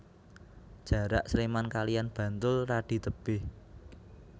Jarak Sleman kaliyan Bantul radi tebih